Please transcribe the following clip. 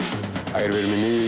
ægir við erum í